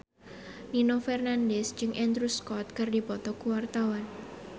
Nino Fernandez jeung Andrew Scott keur dipoto ku wartawan